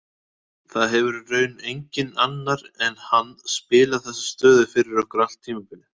Það hefur í raun enginn annar en hann spilað þessa stöðu fyrir okkur allt tímabilið.